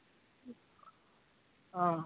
ਹਾਂ।